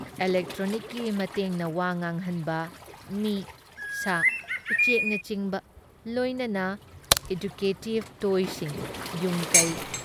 ꯏꯂꯦꯛꯇ꯭ꯔꯣꯅꯤꯛꯀꯤ ꯃꯇꯦꯡꯅ ꯋꯥ ꯉꯥꯡꯍꯟꯕ, ꯃꯤ, ꯁꯥ, ꯎꯆꯦꯛꯅꯆꯤꯡꯕ ꯂꯣꯏꯅꯅ ꯑꯦꯗꯨꯀꯦꯇꯤꯕ ꯇꯣꯏꯖꯁꯤꯡ, ꯌꯨꯝꯀꯩ